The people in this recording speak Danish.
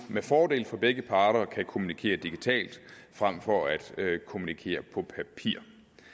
med fordel for begge parter kan kommunikere digitalt frem for at kommunikere på papir